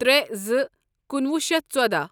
ترے زٕ کنُوہُ شیتھ ژۄدَہ